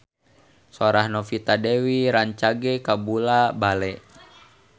Sora Novita Dewi rancage kabula-bale